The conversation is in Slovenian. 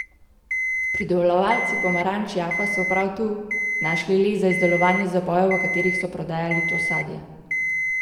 Pridelovalci pomaranč jaffa so prav tu našli les za izdelovanje zabojev, v katerih so prodajali to sadje.